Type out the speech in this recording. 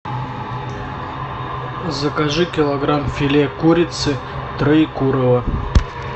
закажи килограмм филе курицы троекурово